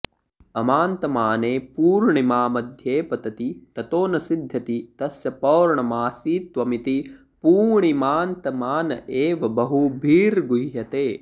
अमान्तमाने पूर्णिमा मध्ये पतति ततो न सिध्यति तस्य पौर्णमासीत्वमिति पूणिमान्तमान एव बहुभिर्गुह्यते